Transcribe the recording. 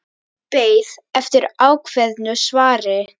Beið eftir ákveðnu svari.